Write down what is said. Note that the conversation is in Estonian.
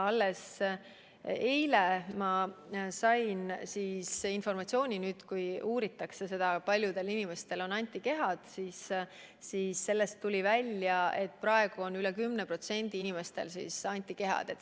Alles eile ma sain informatsiooni, et kui on uuritud seda, kui paljudel inimestel on antikehad, siis on välja tulnud, et praegu on veidi rohkem kui 10% inimestel antikehad.